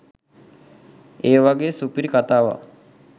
ඒ වගේ සුපිරි කථාවක්